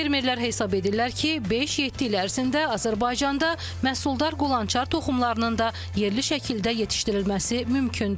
Fermerlər hesab edirlər ki, beş-yeddi il ərzində Azərbaycanda məhsuldar qulançar toxumlarının da yerli şəkildə yetişdirilməsi mümkündür.